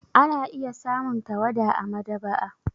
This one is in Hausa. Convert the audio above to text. Ana iya samun tawada a maɗaba'a.